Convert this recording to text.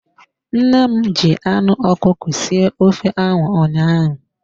Nne m ji anụ ọkụkọ sie ofe ahụ ụnyaahụ.